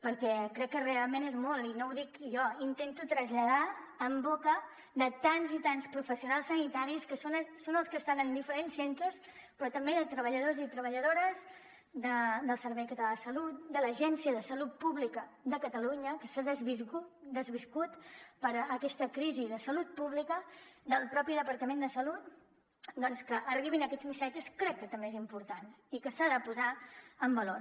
perquè crec que realment és molt i no ho dic jo intento traslladar en boca de tants i tants professionals sanitaris que són els que estan en diferents centres però també de treballadors i treballadores del servei català de salut de l’agència de salut pública de catalunya que s’ha desviscut per aquesta crisi de salut pública del mateix departament de salut doncs que arribin aquests missatges crec que també és important i que s’ha de posar en valor